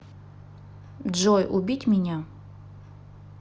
джой убить меня